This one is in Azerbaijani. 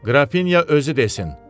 Qrafinya özü desin.